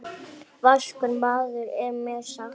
Vaskur maður er mér sagt.